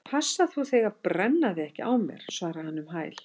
Passa þú þig að brenna þig ekki á mér- svaraði hann um hæl.